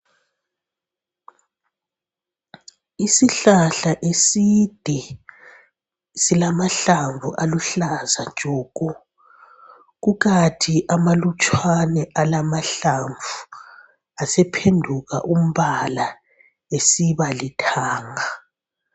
Isihlahla eside silamahlamvu aluhlaza tshoko. Kukathi amalutshwane alamahlamvu asephenduka umbala esiba lithanga.